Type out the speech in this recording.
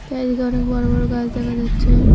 চারিদিকে অনেক বড় বড় গাছ দেখা যাচ্ছে।